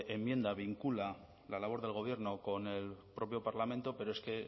enmienda vincula la labor del gobierno con el propio parlamento pero es que